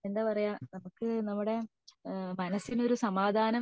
എന്താ പറയാ നമുക് നമ്മുടെ മനസിന് ഒരു സമാധാനം